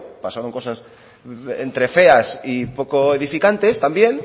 pasaron cosas entre feas y poco edificantes también